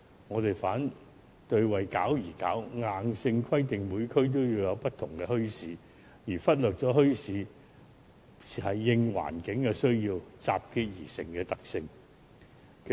我們反對"為搞而搞"，硬性規定每區均要有不同的墟市，而忽略了墟市應環境需要集結而成的特性。